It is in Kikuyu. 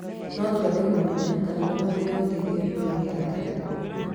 No twende kũmenya kana nĩwonete ũteithio nduka-inĩ ya ngari